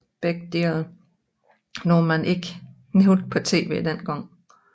Begge dele noget man ikke nævnte på TV dengang